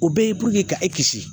O bɛɛ ye ka e kisi